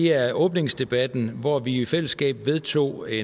er åbningsdebatten hvor vi i fællesskab vedtog et